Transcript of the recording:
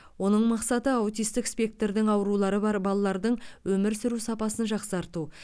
оның мақсаты аутистік спектрдің аурулары бар балалардың өмір сүру сапасын жақсарту